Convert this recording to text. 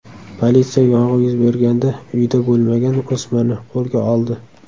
Politsiya yong‘in yuz berganda uyda bo‘lmagan o‘smirni qo‘lga oldi.